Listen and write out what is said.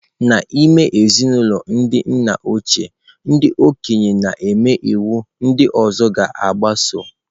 N'ime ezinụlọ ndị nna ochie, ndị okenye na-eme iwu ndị ọzọ ga-agbaso.